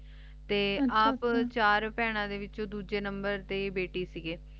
ਤੇ ਆਪ ਆਚਾ ਆਚਾ ਚਾਰ ਪੀਨਾ ਦੇ ਵਿਚੋਂ ਦੋਜਯ ਨੰਬਰ ਦੀ ਬੇਟੀ ਸੀਗੇ